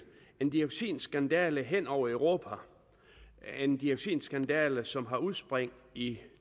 en dioxinskandale hen over europa en dioxinskandale som har udspring i